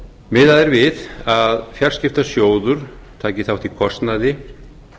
miðað er við að fjarskiptasjóður taki þátt í kostnaði